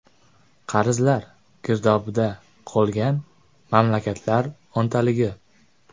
Qarzlar girdobida qolgan mamlakatlar o‘ntaligi.